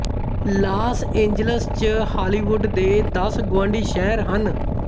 Las Angeles ਚ Hollywood ਦੇ ਦਸ ਗੁਆਂਢੀ ਸ਼ਹਿਰ ਹਨ